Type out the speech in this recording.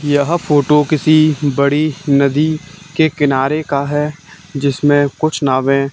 यह फोटो किसी बड़ी नदी के किनारे का है जिसमें कुछ नावे--